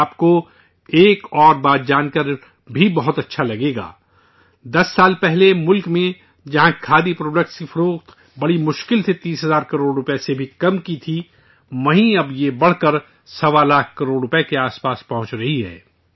آپ کو ایک اور بات جان کر بھی بہت اچھا لگے گا، دس سال پہلے ملک میں جہاں کھادی پروڈکٹس کی فروخت بڑی مشکل سے 30 ہزار کروڑ روپے سے بھی کم کی تھی، اب یہ بڑھ کر سوا لاکھ کروڑ روپے کے آس پاس پہنچ رہی ہے